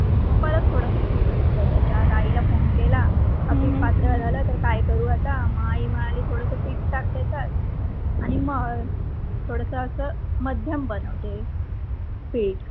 मग परत थोड्स पिठ घेतल त्याच्यात आईला फोन केला पीठ पातळ झालं तर काय करू आता मग आई म्हणाली थोड्स पिठ टाक त्याच्यात आणि मळ. थोड्स आस मध्यम बनते पिठ.